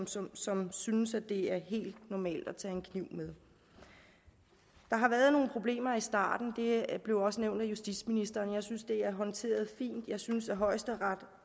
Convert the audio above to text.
som som synes at det er helt normalt at tage en kniv med der har været nogle problemer i starten det blev også nævnt af justitsministeren jeg synes det er håndteret fint jeg synes at højesteret